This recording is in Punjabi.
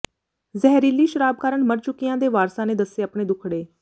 ਜ਼ਹਿਰੀਲੀ ਸ਼ਰਾਬ ਕਾਰਨ ਮਰ ਚੁਕਿਆਂ ਦੇ ਵਾਰਸਾਂ ਨੇ ਦੱਸੇ ਅਪਣੇ ਦੁਖੜੇ